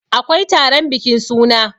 akwai taron bikin suna